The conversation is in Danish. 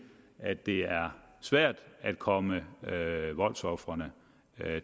at det er svært at komme voldsofrene